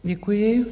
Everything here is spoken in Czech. Děkuji.